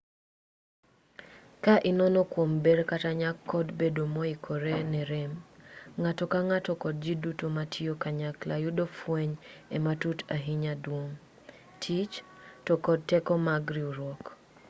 ka inono kuom ber kata nyak kod bedo moikore ne rem ng'ato ka ng'ato kod ji duto matiyo kanyakla yudo fueny e yo matut ahinya duong' tich to kod teko mag riwruok